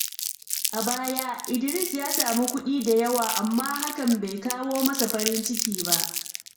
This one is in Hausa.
A baya, Idris ya sami kuɗi da yawa, amma hakan bai kawo masa farin ciki ba.